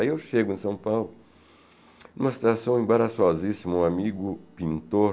Aí eu chego em São Paulo, em uma situação embaraçosíssima, um amigo pintor,